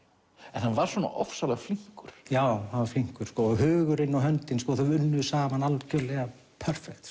en hann var svona ofsalega flinkur já hann var flinkur og hugurinn og höndin unnu saman algjörlega